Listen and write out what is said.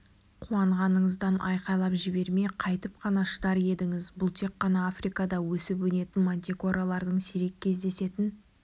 қуанғаныңыздан айқайлап жібермей қайтіп қана шыдар едіңіз бұл тек қана африкада өсіп-өнетін мантикоралардың сирек кездесетін